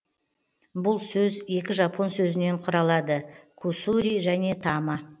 бұл сөз екі жапон сөзінен құралады кусури және тама